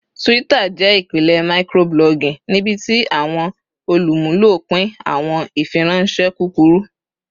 Twitter jẹ ipilẹ microblogging nibiti awọn olumulo pin awọn ifiranṣẹ kukuru.